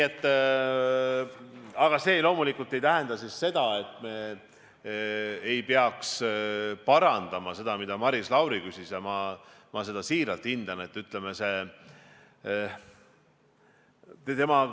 Aga see loomulikult ei tähenda seda, et me ei peaks parandama seda, mille kohta Maris Lauri küsis.